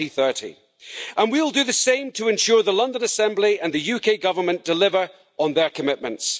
2030. And we will do the same to ensure the London Assembly and the UK Government deliver on their commitments.